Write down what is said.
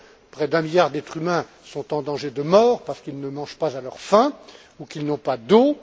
Près d'un milliard d'êtres humains sont en danger de mort parce qu'ils ne mangent pas à leur faim ou qu'ils n'ont pas d'eau.